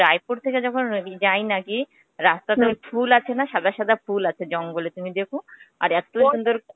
রায়পুর থেকে যখন যাই নাকি রাস্তাতে ফুল আছে না, সাদা সাদা ফুল আছে জঙ্গলে তুমি দেখো. আর এত্তো সুন্দর